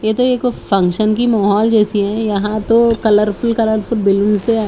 ये तो एक फंक्शन की महोल जैसी है यहाँ तो कलरफुल कलरफुल बिल्डिंग्स है--